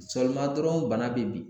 dɔrɔn bana bɛ bin